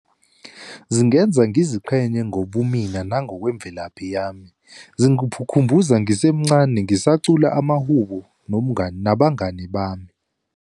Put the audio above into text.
Zingenza ngiziqhenye ngobumina nangokwemvelaphi yami, khumbuza ngisemncane ngisacula amahubo nomngani, nabangani bami.